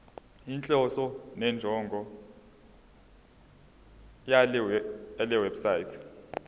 inhloso nenjongo yalewebsite